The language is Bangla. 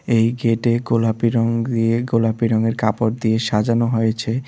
এই গেটে গোলাপী রঙ দিয়ে গোলাপী রঙের কাপড় দিয়ে সাজানো হয়েছে।